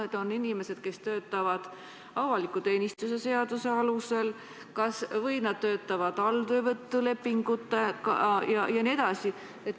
Kas nad on inimesed, kes töötavad avaliku teenistuse seaduse alusel, või nad töötavad alltöövõtulepingu alusel jne?